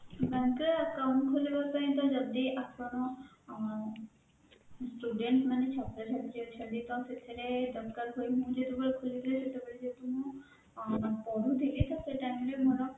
bank ରେ account ଖୋଲିବା ପାଇଁ ତ ଯଦି ଆପଣ ଅଁ student ମାନେ ଛାତ୍ରଛାତ୍ରୀ ଅଛନ୍ତି ତ ସେଥିରେ ଦରକାର ହୁଏ ତ ମୁଁ ଯେତେବେଳେ ଖୋଲିଥିଲି ସେତେବେଳେ ଯେହେତୁ ମୁଁ ପଢୁଥିଲି ତ ସେତେବେଳେ ମୋର